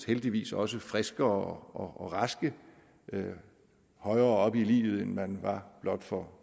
heldigvis også friske og raske højere op i livet end man var for